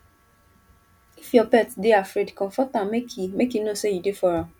if your pet dey afraid comfort am make e make e know sey you dey for am